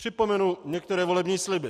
Připomenu některé volební sliby.